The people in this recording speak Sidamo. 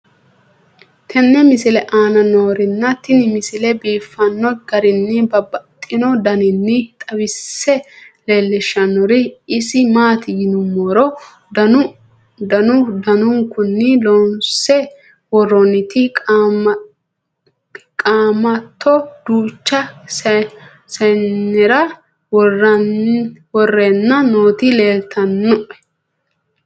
tenne misile aana noorina tini misile biiffanno garinni babaxxinno daniinni xawisse leelishanori isi maati yinummoro danu danunkunni loonsse woroonnitti qaamatto duucha sayiinnera woreenna nootti leelittanno